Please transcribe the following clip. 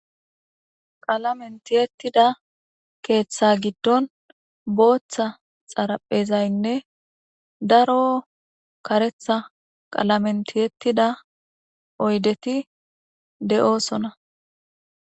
qalamentiyettida keeththa giddon booththa xaraphezaynne daro karetha qalamentiyettida oydeti de7oosona